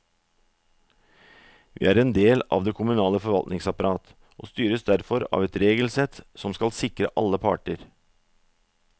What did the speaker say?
Vi er en del av det kommunale forvaltningsapparat, og styres derfor av et regelsett som skal sikre alle parter.